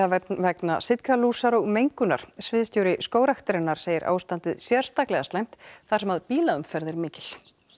vegna sitkalúsar og mengunar sviðstjóri Skógræktarinnar segir ástandið sérstaklega slæmt þar sem bílaumferð er mikil